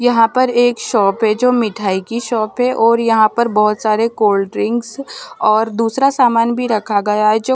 यहाँ पर एक शॉप है जो मिठाई की शॉप है और यहाँ पर बहुत सारे कोल्ड्रिंक्स और दूसरा सामान भी रखा गया है जो--